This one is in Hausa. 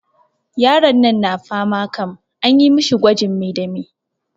Yaron nan na fama kam, anyi mishi gwajin me da me?